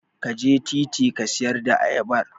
Ka je titi ka siyar da ayabar.